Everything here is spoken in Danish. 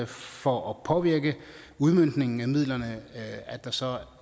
for at påvirke udmøntningen af midlerne at der så